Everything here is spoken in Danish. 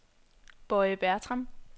Boye Bertram